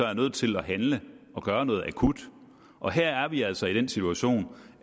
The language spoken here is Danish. er nødt til at handle og gøre noget akut og her er vi altså i den situation